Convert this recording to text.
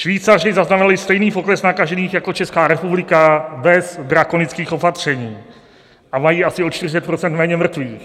Švýcaři zaznamenali stejný pokles nakažených jako Česká republika bez drakonických opatření a mají asi o 40 % méně mrtvých.